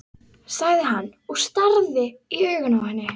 sagði hann og starði í augun á henni.